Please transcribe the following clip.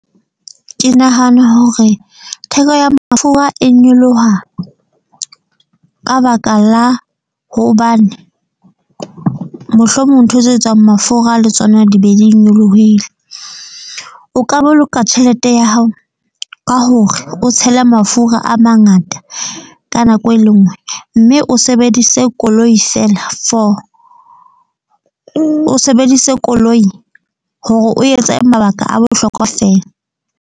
Ke nahana hore theko ya mafura e nyoloha ka baka la hobane mohlomong ntho tse etsang mafura le tsona di be di nyolohile. O ka boloka tjhelete ya hao ka hore o tshele mafura a mangata ka nako e le nngwe. Mme o sebedise koloi feela for o sebedise koloi hore o etse mabaka a bohlokwa feela.